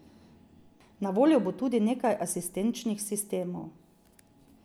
Na voljo bo tudi nekaj asistenčnih sistemov.